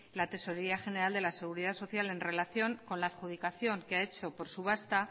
la tesorería general de la seguridad social en relación con la adjudicación que ha hecho por subasta